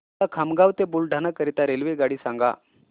मला खामगाव ते बुलढाणा करीता रेल्वेगाडी सांगा